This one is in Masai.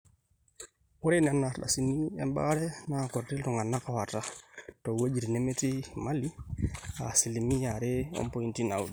ore nena ardasini ebaare naa kuti iltung'anak ooata toowuejitin nemetii imali aa asilimia are ompointi naaudo